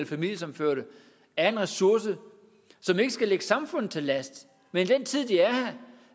familiesammenførte er en ressource og ikke skal ligge samfundet til last men i den tid de er her